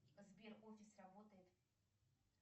сбер офис работает